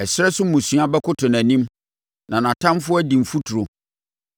Ɛserɛ so mmusua bɛkoto nʼanim na nʼatamfoɔ adi mfuturo.